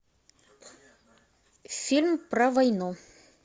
фильм про войну